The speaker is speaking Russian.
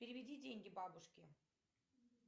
переведи деньги бабушке